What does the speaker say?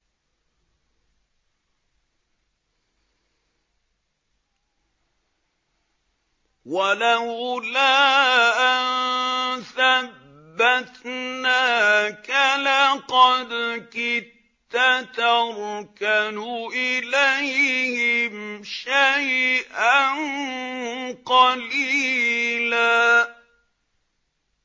وَلَوْلَا أَن ثَبَّتْنَاكَ لَقَدْ كِدتَّ تَرْكَنُ إِلَيْهِمْ شَيْئًا قَلِيلًا